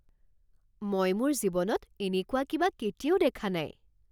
মই মোৰ জীৱনত এনেকুৱা কিবা কেতিয়াও দেখা নাই